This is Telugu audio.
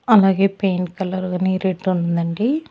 అలాగే పెయింట్ కలర్ గాని రెడ్ ఉందండి.